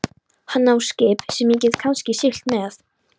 Hann á skip sem ég get kannski siglt með.